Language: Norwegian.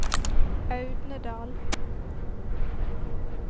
Audnedal